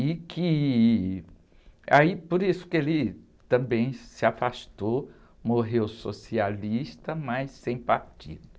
E que... Aí, por isso que ele também se afastou, morreu socialista, mas sem partido.